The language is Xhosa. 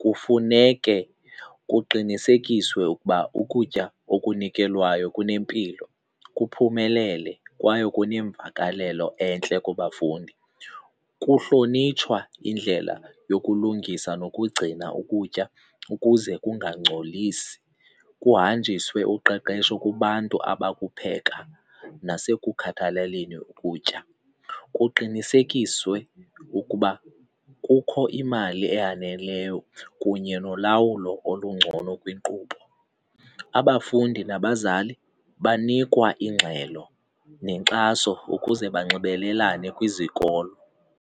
kufuneke kuqinisekiswe ukuba ukutya okunikelwayo kunempilo, kuphumelele kwaye kunemvakalelo entle kubafundi. Kuhlonitshwa indlela yokulungisa nokugcina ukutya ukuze kungangcolisi, kuhanjiswe uqeqesho kubantu abakupheka nasekukhathalaleni ukutya. Kuqinisekiswe ukuba kukho imali eyaneleyo kunye nolawulo olungcono kwinkqubo. Abafundi nabazali banikwa ingxelo nenkxaso ukuze banxibelelane kwizikolo.